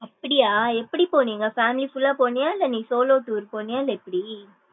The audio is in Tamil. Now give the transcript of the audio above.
அப்படியா எப்டி போனீங்க family full லா போனியா இல்ல நீ solo tour போனியா இல்ல எப்டி?